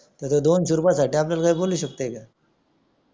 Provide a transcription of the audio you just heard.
तर तो दोनशे रुपये साठी आपल्याला रंगळू शकतो का